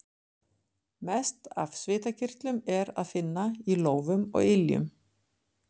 Mest af svitakirtlum er að finna í lófum og iljum.